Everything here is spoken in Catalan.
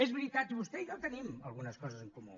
és veritat vostè i jo tenim algunes coses en comú